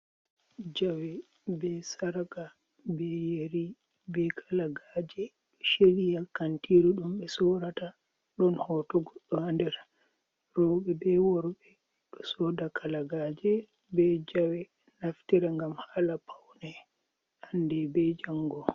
jawe be saraga beyeri be kalagaje do shiriya kantiru dum be sodata don hotugo do andera robe be worbe do soda kalagaje be jawe naftira gam hala paune hande be jango